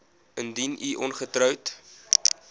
indien u ongetroud